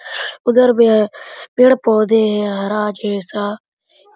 उधर में है पेड़-पौधे है हरा जैसा--